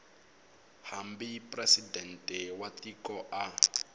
hambi presidente wa tiko a